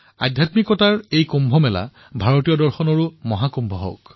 আধ্যাত্মিকতাৰ দ্বাৰা কুম্ভ ভাৰতীয় দৰ্শন মহাকুম্ভ হওক